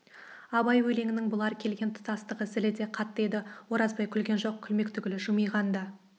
абай өлеңінің бұлар келген тұстағы зілі де қатты еді оразбай күлген жоқ күлмек түгіл жымиған да